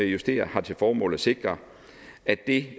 justerer har til formål at sikre at det